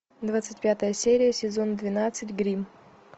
двадцать пятая серия сезон двенадцать гримм